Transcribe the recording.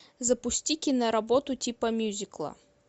запусти киноработу типа мюзикла